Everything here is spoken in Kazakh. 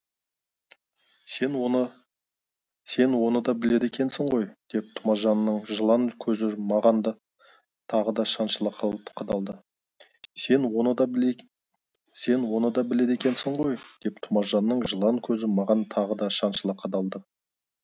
сен оны да біледі екенсің ғой деп тұмажанның жылан көзі маған тағы да шаншыла қадалды сен оны да біледі екенсің ғой деп тұмажанның жылан көзі маған тағы да шаншыла қадалды